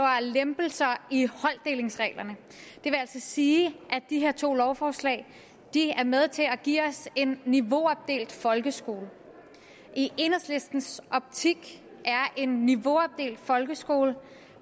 lempelser i holddelingsreglerne det vil altså sige at de her to lovforslag er med til at give os en niveauopdelt folkeskole i enhedslistens optik er en niveauopdelt folkeskole